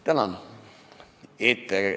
Tänan!